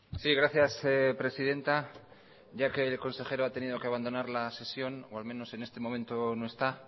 sí gracias presidenta ya que el consejero ha tenido que abandonar la sesión o al menos en este momento no está